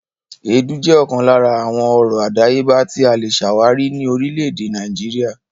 Èédú jẹ́ ọ̀kan lára àwọn ọrọ̀ àdáyébà tí a le ṣàwárí ní orílẹ̀-èdè Nàìjíríà.